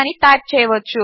అని టైప్ చేయవచ్చు